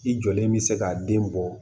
I jɔlen bɛ se ka den bɔ